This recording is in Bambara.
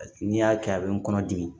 N'i y'a kɛ a bɛ n kɔnɔ dimi